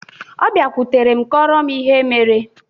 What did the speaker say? Ọbịakwụtere m kọọrọ m ihe mere.